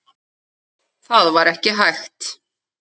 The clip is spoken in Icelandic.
Það var ekki hægt.